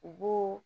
U b'o